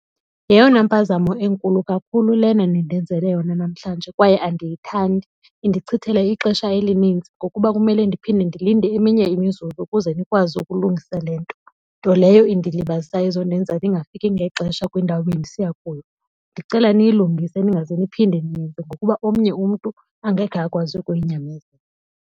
Yeyona mpazamo enkulu kakhulu lena nindenzele yona namhlanje kwaye andiyithandi. Nindichithela ixesha elinintsi ngokuba kumele ndiphinde ndilinde eminye imizuzu ukuze nikwazi ukulungisa le nto. Nto leyo into indilibazisayo izondenza ndingafiki ngexesha kwindawo bendisiya kuyo. Ndicela niyilungise ningaze niphinde niyenze ngokuba omnye umntu angeke akwazi ukuyinyamezela.